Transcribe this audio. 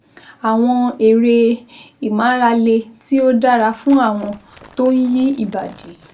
àwọn eré ìmárale tí ó dára fún àwọn tó ń yí ìbàdí